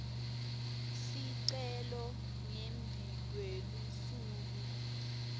sicelo ngembi kwelusuku